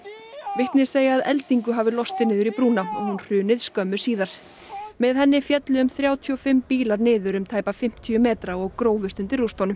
vitni segja að eldingu hafi lostið niður í brúna og hún hrunið skömmu síðar með henni féllu um þrjátíu og fimm bílar niður um tæpa fimmtíu metra og grófust undir rústunum